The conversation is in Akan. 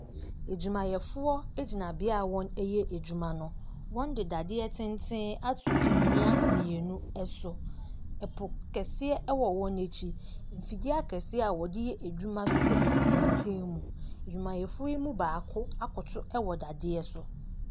Adwumayɛfoɔ egyina bea a wɔyɛ adwyma no wɔn de dadeɛ tenten ato ennua mienu ɛso ɛpo kɛseɛ ɛwɔ wɔn akyi mfidie akɛseɛ a wɔde yɛ adwuma nso esisi wɔn nkyɛn mu adwumayɛfoɔ yi mu baako akoto ɛwɔ dadeɛ so.